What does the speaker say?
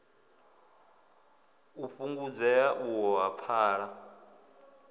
u fhungudzea uho ha pfala